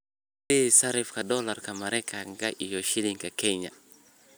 i sii sarifka doolarka Maraykanka iyo shilinka Kenya